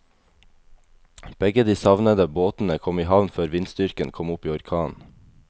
Begge de savnede båtene kom i havn før vindstyrken kom opp i orkan.